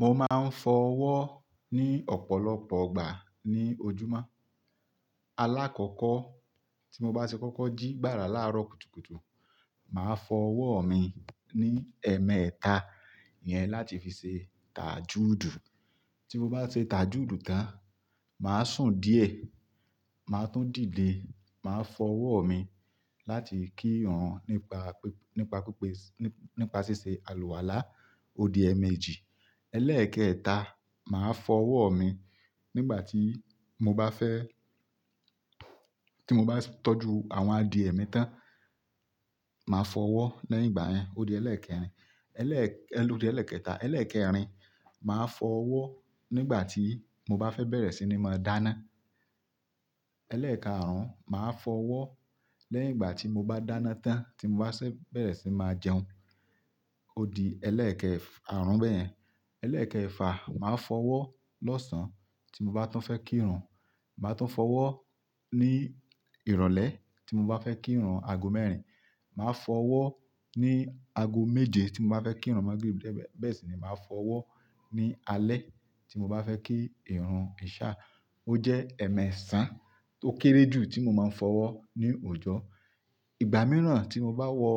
Mo máa ń fọ ọwọ́ ní ọ̀pọ̀lọpọ̀ ìgbà ní ojúmọ́. Alákọ́kọ́ tí mo bá ṣe kọ́kọ́ jí gbára láàárọ̀ kùtùkùtù, màá fọ ọwọ́ mi ní ẹ̀ẹ̀mẹta iyẹn láti fi ṣe taajúùdù. Tí mo bá ṣe taajúùdù tán, màá sùn díẹ̀, màá tún dìde, màá fọ ọwọ́ mi láti kí ìrun nípa píp- nípa pípés- nípa ṣíṣe àlùwàlá. Ó di ẹ̀ẹ̀mejì. Ẹlẹ́ẹ̀kẹta, màá fọ ọwọ́ mi nígbà tí mo bá fẹ́-- tí mo bá tọ́jú àwọn adìẹ mi tán, màá fọ ọwọ́ lẹ́yìn ìgbà yẹn. Ó di ẹlẹ́ẹ̀kẹrin. Ẹlẹ́-- lòó di ẹlẹ́ẹ̀kẹta. Ẹlẹ́ẹ̀kẹrin, màá fọ ọwọ́ nígbà tí mo bá fẹ́ bẹ̀rẹ̀ sí ní máa dáná. Ẹlẹ́ẹ̀káàrún, màá fọ ọwọ́ lẹ́yìn ìgbà tí mo bá dáná tán tí mo bá ṣé bẹ̀rẹ̀ sí máa jẹun. Ó di ẹlẹ́ẹ̀kẹ́e--f--àrún bẹ́yẹn. Ẹlẹ́ẹ̀kẹfà, màá fọ ọwọ́ lọ́sàn-án tí mo bá tún fẹ́ kí ìrun. Màá tún fọ ọwọ́ ní ìrọ̀lẹ́ tí mo bá fẹ́ kí ìrun aago mẹ́rin. Màá fọ ọwọ́ ní aago méje tí mo bá fẹ́ kí ìrun Magrib bẹ́ẹ̀ sì ni màá fọ ọwọ́ ní alẹ́ tí mo bá fẹ́ kí ìrun ìṣá. Ó jẹ́ ẹ̀ẹ̀mẹ́ṣàn tó kéré jù tí mo máa ń fọ ọwọ́ ní òòjọ́. Ìgbà mìíràn tí mo bá wọ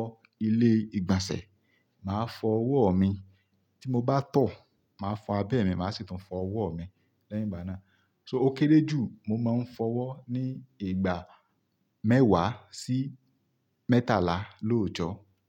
ilé ìgbànsẹ̀, màá fọ ọwọ́ mi. Tí mo bá tọ̀, màá fọ abẹ́ mi, màá sì tún fọ ọwọ́ mi lẹ́yìn ìgbà náà. So ó kéré jù, mo máa ń fọ ọwọ́ ní ìgbà mẹ́wàá sí mẹ́tàlá lóòjọ́.